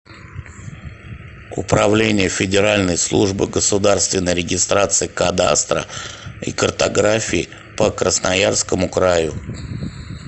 управление федеральной службы государственной регистрации кадастра и картографии по красноярскому краю